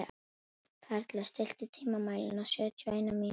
Perla, stilltu tímamælinn á sjötíu og eina mínútur.